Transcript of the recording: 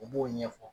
U b'o ɲɛfɔ